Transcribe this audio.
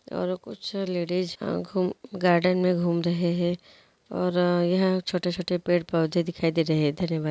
और कुछ ladies garden मैं घूम रहे हैं | और यह छोटे छोटे पेड़ पौधे दिखाई दे रहे हैं। धन्यवाद।